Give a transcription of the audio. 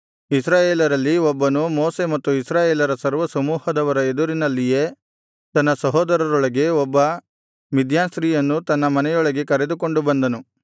ಇಸ್ರಾಯೇಲರಲ್ಲಿ ಒಬ್ಬನು ಮೋಶೆ ಮತ್ತು ಇಸ್ರಾಯೇಲರ ಸರ್ವಸಮೂಹದವರ ಎದುರಿನಲ್ಲಿಯೇ ತನ್ನ ಸಹೋದರರೊಳಗೆ ಒಬ್ಬ ಮಿದ್ಯಾನ್ ಸ್ತ್ರೀಯನ್ನು ತನ್ನ ಮನೆಯೊಳಗೆ ಕರೆದುಕೊಂಡು ಬಂದನು